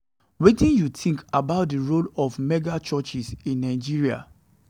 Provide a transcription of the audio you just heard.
Wetin you think about di role of mega-churches in Nigeria?